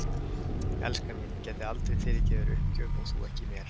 Elskan mín, ég gæti aldrei fyrirgefið þér uppgjöf og þú ekki mér.